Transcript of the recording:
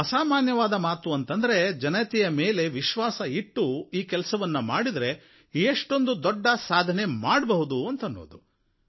ಅಸಾಮಾನ್ಯವಾದ ಮಾತು ಅಂತಂದ್ರೆ ಜನತೆಯ ಮೇಲೆ ವಿಶ್ವಾಸವಿಟ್ಟು ಈ ಕೆಲಸವನ್ನು ಮಾಡಿದರೆ ಎಷ್ಟೊಂದು ದೊಡ್ಡ ಸಾಧನೆ ಮಾಡಬಹುದು ಎನ್ನುವುದು